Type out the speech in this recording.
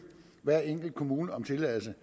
hver enkelt kommune om tilladelse